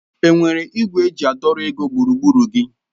Enwere ìgwè eji àdọ́ ego gburugburu gị?: